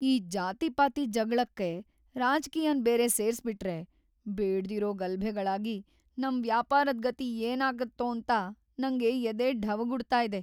ಈ ಜಾತಿಪಾತಿ ಜಗ್ಳಕ್ಕೆ ರಾಜ್‌ಕೀಯನ್‌ ಬೇರೆ ಸೇರಿಸ್ಬಿಟ್ರೆ‌ ಬೇಡ್ದಿರೋ ಗಲಭೆಗಳಾಗಿ ನಮ್‌ ವ್ಯಾಪಾರದ್ ಗತಿ ಏನಾಗತ್ತೋಂತ ನಂಗ್ ಎದೆ ಢವಗುಡ್ತಾಯಿದೆ.